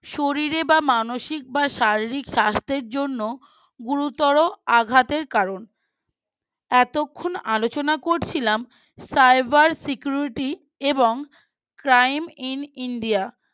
শরীরে বা মানসিক বা শারীরিক স্বাস্থ্যের জন্য গুরুতর আঘাতের কারণ এতক্ষণ আলোচনা করছিলাম Cyber Security এবং Crime In India